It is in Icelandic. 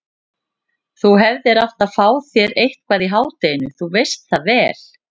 Þú hefðir átt að fá þér eitthvað í hádeginu, þú veist það vel.